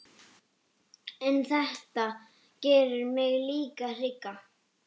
En þetta gerir mig líka hrygga.